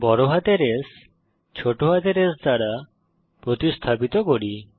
বড় হাতের S ছোট হাতের s দ্বারা প্রতিস্থাপিত করি